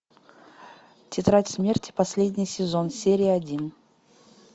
тетрадь смерти последний сезон серия один